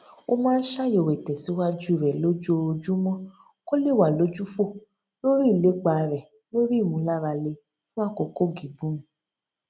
ó máa ń ṣàyèwò ìtèsíwájú rè lójoojúmó kó lè wà lójúfò lórí ìlépa rè lórí ìmùlárale fún àkókò gígùn